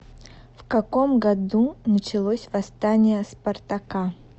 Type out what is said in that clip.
в каком году началось восстание спартака